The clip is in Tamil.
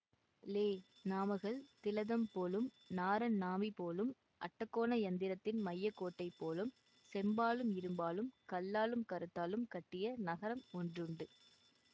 லே நாமகள் திலதம் போலும் நாரணன் நாபி போலும் அட்டகோண யந்திரத்தின் மைய கோட்டை போலும் செம்பாலும் இரும்பாலும் கல்லாலும் கருத்தாலும் கட்டிய நகரம் ஒன்றுண்டு